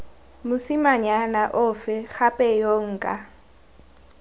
mosimanyana ofe gape yo nka